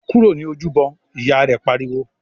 "Kúrò ní Ojúbọ!", Ìyá rẹ̀ pariwo